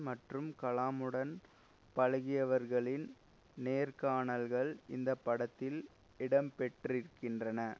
மற்றும் கலாமுடன் பழகியவர்களின் நேர்காணல்கள் இந்த படத்தில் இடம்பெற்றுகின்றன